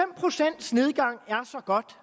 godt